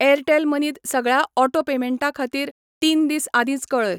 Airtel मनींत सगळ्यां auto पेमेंटां खातीर तीन दीस आदींच कळय.